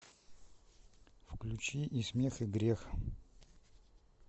включи и смех и грех